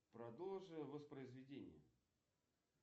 продолжи воспроизведение